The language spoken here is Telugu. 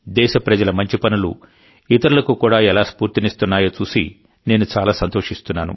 దేశ ప్రజల మంచి పనులు ఇతరులకు కూడా ఎలా స్ఫూర్తినిస్తున్నాయో చూసి నేను చాలా సంతోషిస్తున్నాను